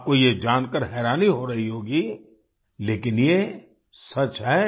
आपको यह जानकर हैरानी हो रही होगी लेकिन ये सच है